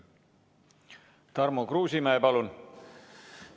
Tarmo Kruusimäe, palun!